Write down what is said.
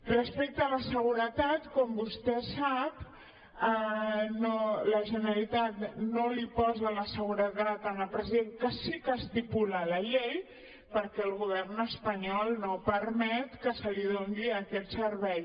respecte a la seguretat com vostè sap la generalitat no li posa la seguretat al president que sí que ho estipula la llei perquè el govern espanyol no permet que se li doni aquest servei